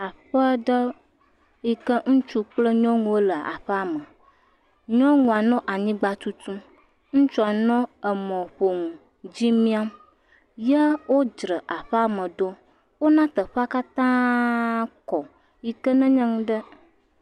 Aƒedɔ yike nyɔnu kple ŋutsu wole aƒea me, nyɔnua nɔ anyigba tutum, ŋutsua nɔ emɔƒonu ko dzi miam, ye wodzre aƒea me ɖo. Wona teƒea katãa kɔ yike nenye nu ɖe…